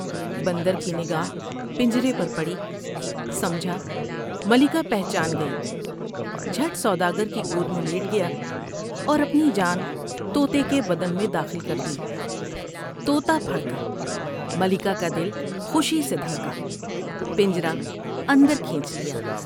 بندر کی نگاہ پنجرے پر پڑی ، سمجھا ملکہ پہچان گئی ، جھٹ سودا گر کی گود میں لیٹ گیا اور اپنی جان توتے کے بدن میں داخل کر دی ، تو تا پھر کا ، ملکہ کا دل خوشی سے دھڑ کا ، پنجر ہ اندر کھینچ لیا ۔